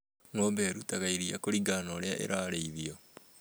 Ng'ombe ĩ rutaga iria kũringana na ũrĩa ĩrarĩ ithio.